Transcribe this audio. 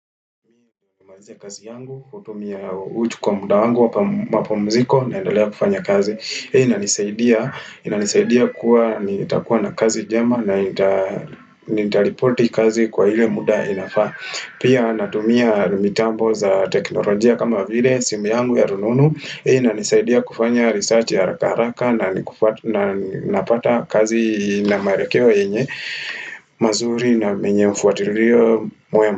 Imajia kazi yangu kutumia uchu kwa muda wangu wapumziko naendelea kufanya kazi. Hii inisaidia inanisaidia kuwa nitakuwa na kazi jema na nitalipoti kazi kwa hile muda inafaa. Pia natumia mitambo za teknolojia kama vile simu yangu ya rununu. Hii inanisaidia kufanya research ya haraka haraka na. Napata kazi na maarekewa yenye mazuri na menye mfuatirio mwema.